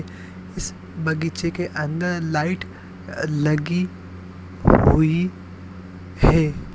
इस बगीचे के अंदर लाइट अ लगी हुई है।